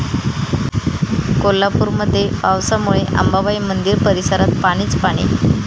कोल्हापूरमध्ये पावसामुळे अंबाबाई मंदिर परिसरात पाणीच पाणी